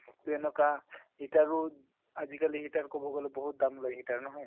তেনেকুৱা heater ও আজিকালি heater কব গলে বহুত দাম লয় heater নহয়।